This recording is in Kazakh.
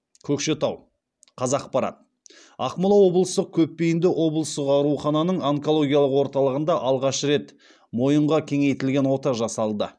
көкшетау қазақпарат ақмола облыстық көпбейінді облыстық аурухананың онкологиялық орталығында алғаш рет мойынға кеңейтілген ота жасалды